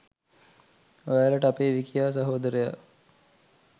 ඔයාලට අපේ විකියා සහෝදරයා